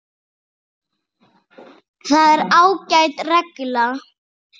Það er ágæt regla.